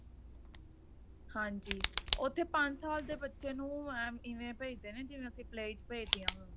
ਹਾਂਜੀ ਉੱਥੇ ਪੰਜ ਸਾਲ ਦੇ ਬੱਚੇ ਨੂੰ ਇਵੇਂ ਭੇਜਦੇ ਨੇ ਜਿਵੇਂ ਅਸੀਂ play ਚ ਭੇਜਦੇ ਆ